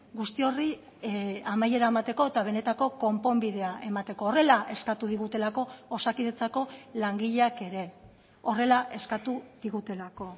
guzti horri amaiera emateko eta benetako konponbidea emateko horrela eskatu digutelako osakidetzako langileak ere horrela eskatu digutelako